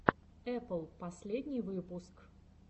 эпл последний выпуск